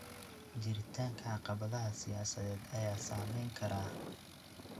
Jiritaanka caqabadaha siyaasadeed ayaa saameyn kara.